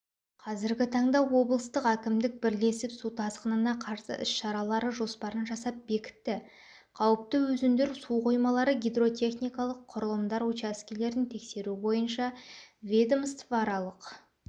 қазіргі таңда облыстық әкімдік бірлесіп су тасқынына қарсы іс-шаралары жоспарын жасап бекітті қауіпті өзендер суқоймалары гидротехникалық құрылымдар учаскелерін тексеру бойынша ведомствоаралық